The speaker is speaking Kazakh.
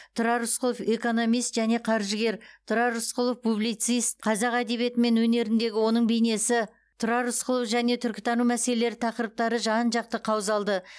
тұрар рысқұлов экономист және қаржыгер тұрар рысқұлов публицист қазақ әдебиеті мен өнеріндегі оның бейнесі тұрар рысқұлов және түркітану мәселелері тақырыптары жан жақты қаузалды